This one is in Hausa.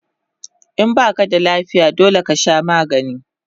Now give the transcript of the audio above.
In baka da lafiya dole kasha magani